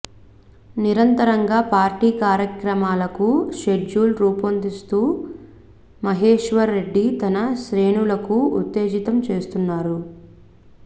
నిరంతరంగా పార్టీ కార్యక్రమాలకు షెడ్యూల్ రూపొందిస్తూ మహేశ్వర్ రెడ్డి తన శ్రేణులకు ఉత్తేజితం చేస్తున్నారు